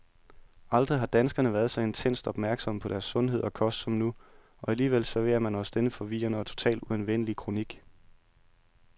Aldrig har danskerne været så intenst opmærksomme på deres sundhed og kost som nu, og alligevel serverer man os denne forvirrende og totalt uanvendelige kronik.